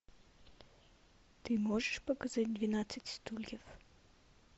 ты можешь показать двенадцать стульев